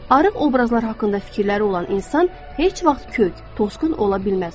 Arıq obrazlar haqqında fikirləri olan insan heç vaxt kök, tosqun ola bilməz.